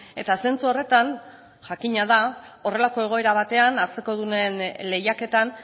eta zentzu horretan jakina da horrelako egoera batean hartzekodunen lehiaketan